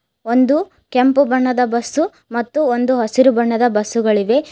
ಒಂದು ಕೆಂಪು ಬಣ್ಣದ ಬಸ್ಸು ಮತ್ತು ಹಸಿರು ಬಣ್ಣದ ಬಸ್ ಗಳಿವೆ.